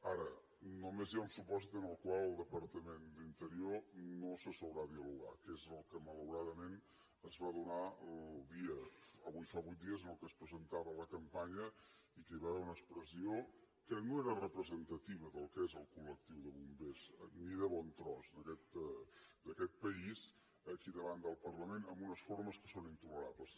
ara només hi ha un supòsit en el qual el departament d’interior no s’asseurà a dialogar que és el que malauradament es va donar el dia avui fa vuit dies en què es presentava la campanya i que hi va haver una expressió que no era representativa del que és el collectiu de bombers ni de bon tros d’aquest país aquí davant del parlament amb una formes que són intolerables